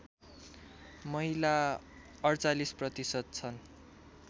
महिला ४८ प्रतिशत छन्